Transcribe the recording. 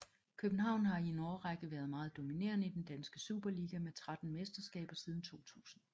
København har i en årrække været meget dominerende i den danske Superliga med tretten mesterskaber siden 2000